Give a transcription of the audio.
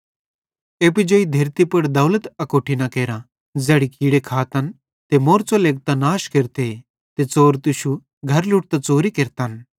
एप्पू जेई धरती पुड़ दौलत अकोट्ठी न केरा ज़ैड़ी कीड़े खातन ते मौरच़ो लेगतां नाश केरते ते च़ोर तुश्शू घर ट्लोड़तां च़ोरी केरतन